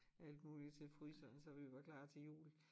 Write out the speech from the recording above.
Alt muligt til fryseren så vi var klar til jul